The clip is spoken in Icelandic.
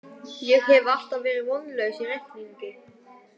Ég hef alltaf verið vonlaus í reikningi